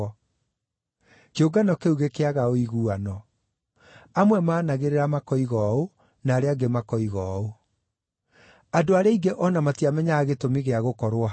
Kĩũngano kĩu gĩkĩaga ũiguano: Amwe maanagĩrĩra makoiga ũũ, na arĩa angĩ makoiga ũũ. Andũ arĩa aingĩ o na matiamenyaga gĩtũmi gĩa gũkorwo hau.